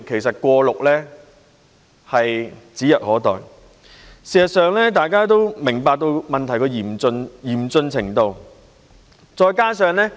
事實上，大家都明白到問題的嚴峻程度。